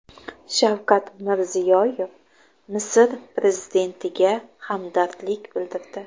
Shavkat Mirziyoyev Misr prezidentiga hamdardlik bildirdi.